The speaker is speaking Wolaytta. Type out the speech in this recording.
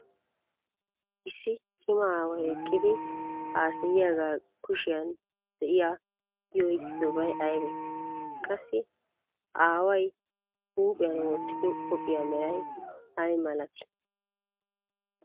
Issi cima aaway eqqidi haasayiyaaga kushiyan de'iya I oyqqiddobay aybee? Qassi ha aaway b huuphiyan wottiddo qophiya meray ay malatii?